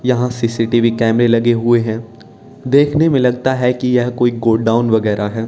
यहां सी_सी_टी_वी कैमरे लगे हुए हैं देखने में लगता है कि यह कोई गोडाउन वगैरा है।